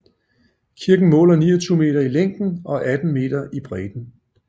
Kirken måler 29 meter i længden og 18 meter i bredden